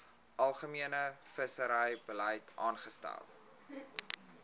algemene visserybeleid vasgestel